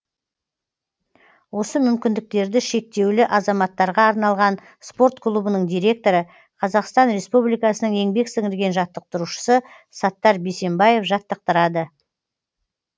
осы мүмкіндіктерді шектеулі азаматтарға арналған спорт клубының директоры қазақстан республикасының еңбек сіңірген жаттықтырушысы саттар бейсембаев жаттықтырады